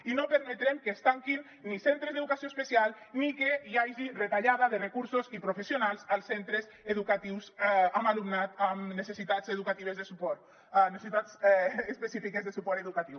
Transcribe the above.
i no permetrem que es tanquin ni centres d’educació especial ni que hi hagi retallada de recursos i professionals als centres educatius amb alumnat amb necessitats específiques de suport educatiu